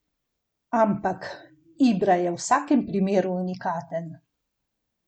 Ampak, Ibra je v vsakem primeru unikaten.